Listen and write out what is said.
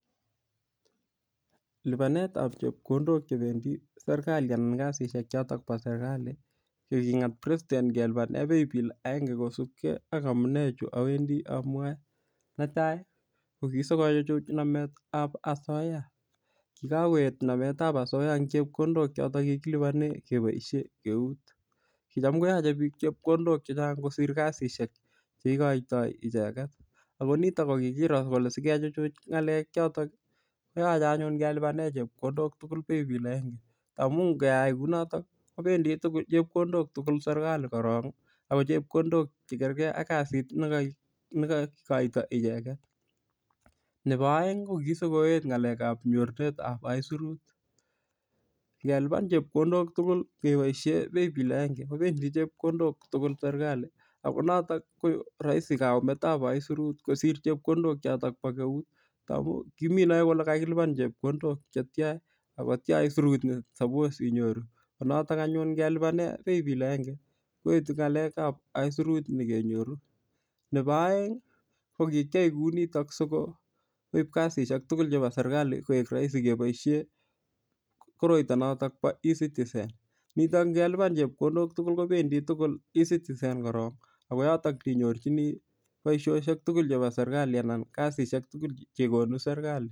Lipanetab chepkondok chependi serikali anan kasishek chotok bo serikali ko king'ete president kelipane playbill aenge kosupkei ak amune chu awendi amwoe netai ko kisikochuchuch nametab asoiya kikakoet nametab asoiya eng' chepkondok chotok kikilipane keboishe keut kicham koyochei biik chepkondok chechang' kosir kasishek cheikoitoi icheget ako nitok ko kikiro kele sikechuchuch ng'alek chotok koyochei anyun kelipane chepkondok tugul playbill agenge amu ngeyai kou notok kopendi tugul chepkondok tugul serikali korok ako chepkondok chekerker ak kasit nekaikoito icheget nebo oeng' ko kisikoet ng'alekab nyorwet ab isurut ngelipan chepkondok tugul keboishe playbill agenge kopendi chepkondok tugul serikali ako notok ko rahisi kayumetab isurut kosir chepkondok chotok bo keut amu kiminoe ile kakilipan chepkondok chetya akotya isurut nesapos inyoru ko notok anyun ngelipane playbill agenge koetu ng'alekab isurut nekenyoru nebo oeng' kokikyai kou notok sikoib kasishek tugul chebo serikali koek rahisi keboishe koroito notok bo ecitizen nitok ngelipane chepkondok tugul kopendi tugul ecitizen korok ako notok ole inyorchini boishoshek tugul chebo serikali anan kasishek tugul chekonu serikali